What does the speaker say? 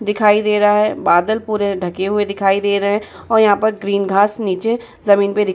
दिखाई दे रहा है। बादल पूरे ढके हुए दिखाई दे रहे है और यहाँ पर ग्रीन घास नीचे जमीन पे दिख --